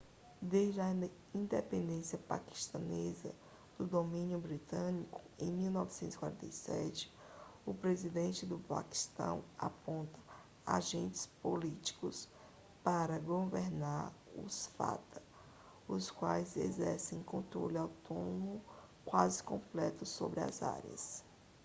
desde a independência paquistanesa do domínio britânico em 1947 o presidente do paquistão aponta agentes políticos para governar os fata os quais exercem controle autônomo quase completo sobre as áreas